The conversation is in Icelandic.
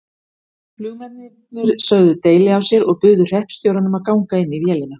Flugmennirnir sögðu deili á sér og buðu hreppstjóranum að ganga inn í vélina.